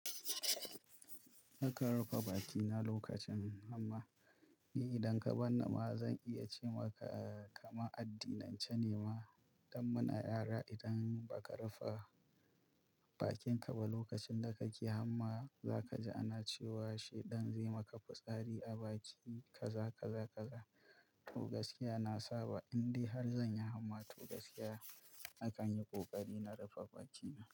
Nakan rufe bakina lokacin hamma. Ni idan ka barni ma zan iya ce maka kaman addinance ne ma don muna yara. Idan ba ka rufe bakinka ba lokacin da kake hamma, za ka ji ana cewa shaidan zai maka fitsari a baki kaza kaza kaza. To gaskiya na saba, in dai har zan yi hamma, to gaskiya nakan yi ƙoƙari na rufe bakina.